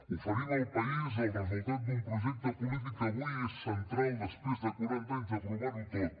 oferim al país el resultat d’un projecte polític que avui és central després de quaranta anys de provar ho tot